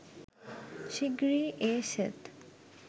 শিগগিরই এ সেট